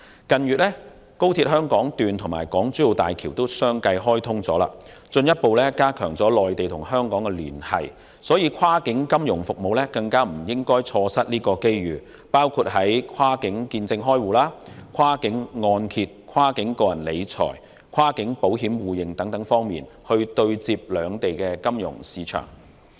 近月，廣深港高速鐵路香港段及港珠澳大橋相繼開通，進一步加強內地與香港的聯繫，跨境金融服務業更不應錯失相關機遇，應當在包括跨境見證開戶、跨境按揭、跨境個人理財及跨境保險互認等方面，讓兩地金融市場接軌。